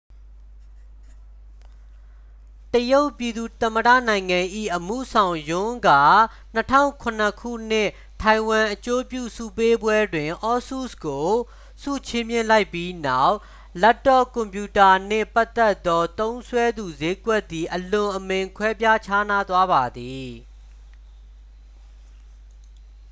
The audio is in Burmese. တရုတ်ပြည်သူ့သမ္မတနိုင်ငံ၏ အမှုဆောင် ယွန်း က 2007 ခုနှစ် ထိုင်ဝမ်အကျိုးပြုဆုပေးပွဲတွင် asus ကို ဆုချီးမြှင့်လိုက်ပြီးနောက် လပ်တော့ကွန်ပြူတာနှင့်ပတ်သက်သော သုံးစွဲသူစျေးကွက်သည် အလွန်အမင်း ကွဲပြားခြားနားသွားပါသည်